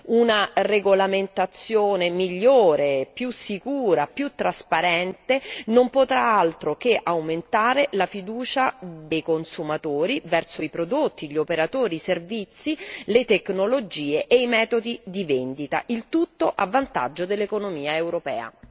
Una regolamentazione migliore, più sicura, più trasparente non potrà far altro che aumentare la fiducia dei consumatori nei prodotti, negli operatori, nei servizi, nelle tecnologie e nei metodi di vendita, il tutto a vantaggio dell'economia europea.